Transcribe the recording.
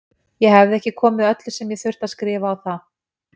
Ég hefði ekki komið öllu sem ég þurfti að skrifa á það.